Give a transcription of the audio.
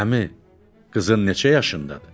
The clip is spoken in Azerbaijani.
Əmi, qızın neçə yaşındadır?